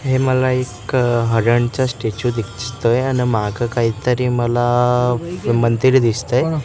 हे मला एक हाडांचा स्टॅचू दिसतोय आणि माग काहीतरी मला मंदिर दिसतंय.